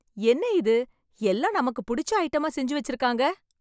என்ன இது எல்லாம் நமக்கு புடிச்ச ஐட்டமா செஞ்சு வச்சிருக்காங்க